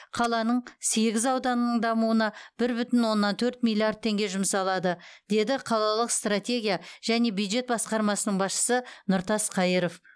қаланың сегіз ауданының дамуына бір бүтін оннан төрт миллиард теңге жұмсалады деді қалалық стратегия және бюджет басқармасының басшысы нұртас қайыров